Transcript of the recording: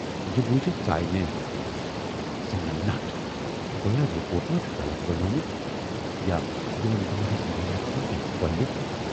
"یہِ بوٗزِتھ ژایہِ مےٚ زنگن نٹھ گویا رِپوٹ ما چُھ غلط بنیٚومُت یا یِمن دۅہَن ہٕنز محنتھ ما گٔیہِ کۅلہِ۔